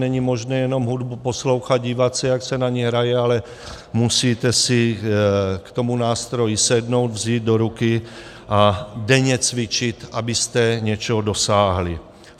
Není možné jenom hudbu poslouchat, dívat se, jak se na něj hraje, ale musíte si k tomu nástroji sednout, vzít do ruky a denně cvičit, abyste něčeho dosáhli.